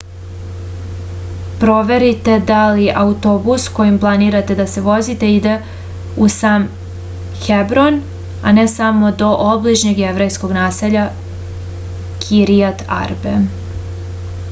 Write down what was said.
proverite da li autobus kojim planirate da se vozite ide u sam hebron a ne samo do obližnjeg jevrejskog naselja kiriat arbe